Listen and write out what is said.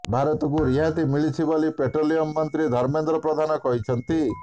ଭାରତକୁ ରିହାତିି ମିଳିଛି ବୋଲି ପେଟ୍ରୋଲିୟମ ମନ୍ତ୍ରୀ ଧର୍ମେନ୍ଦ୍ର ପ୍ରଧାନ କହିଛନ୍ତି